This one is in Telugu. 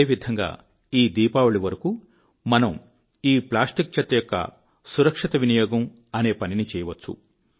అదే విధంగా ఈ దీపావళి వరకు మనం ఈ ప్లాస్టిక్ చెత్త యొక్క సురక్షిత వినియోగం అనే పనిని చేయవచ్చు